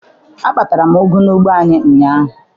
Akpatara m ụgụ n'ugbo anyị ụnyaahụ.